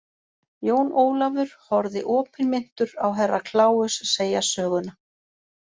Jón Ólafur horfði opinmynntur á Herra Kláus segja söguna.